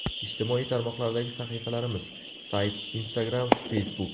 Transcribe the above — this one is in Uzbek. Ijtimoiy tarmoqlardagi sahifalarimiz: Sayt Instagram Facebook !